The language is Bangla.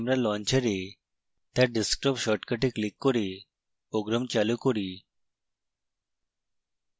তাই আমরা launcher তার desktop শর্টকার্টে ক্লিক করে program চালু করি